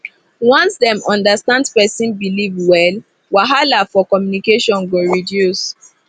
once dem understand person belief well wahala for communication go reduce